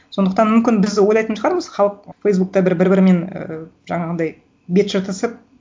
сондықтан мүмкін біз ойлайтын шығармыз халық фейсбукта бір бір бірімен і жаңағындай бет жыртысып